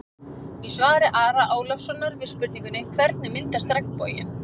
Í svari Ara Ólafssonar við spurningunni: Hvernig myndast regnboginn?